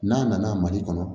N'a nana mali kɔnɔ